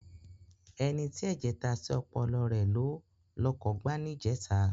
Ẹni tí ẹ̀jẹ̀ ta sí ọpọlọ rẹ ló lọkọ̀ gbá níjẹta.